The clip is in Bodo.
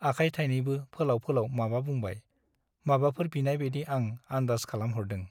आखाय थाइनैबो फोलाव फोलाव माबा बुंनाय , माबाफोर बिनाइ बाइदि आं आन्दाज खालामहरदों ।